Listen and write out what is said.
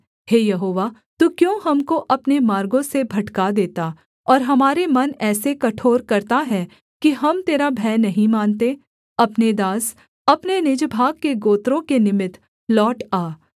हे यहोवा तू क्यों हमको अपने मार्गों से भटका देता और हमारे मन ऐसे कठोर करता है कि हम तेरा भय नहीं मानते अपने दास अपने निज भाग के गोत्रों के निमित्त लौट आ